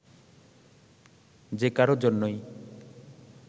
যে কারও জন্যই